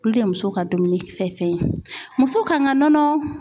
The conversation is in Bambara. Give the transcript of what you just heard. Olu de ye muso ka dumuni fɛn fɛn ye. Muso kan ka nɔnɔ